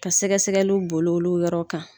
Ka sɛgɛsɛgɛliw b'olu yɔrɔ kan.